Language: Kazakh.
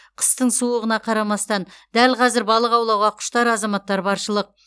қыстың суығына қарамастан дәл қазір балық аулауға құштар азаматтар баршылық